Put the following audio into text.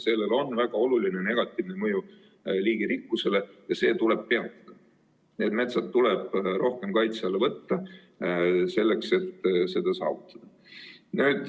Sellel on väga oluline negatiivne mõju liigirikkusele ja see tuleb peatada, need metsad tuleb rohkem kaitse alla võtta, selleks et seda saavutada.